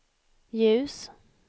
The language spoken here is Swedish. ljus